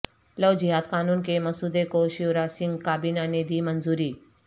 لو جہاد قانون کے مسودے کو شیوراج سنگھ کابینہ نے دی منظوری